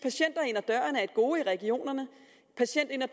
at døren er et gode i regionerne patienter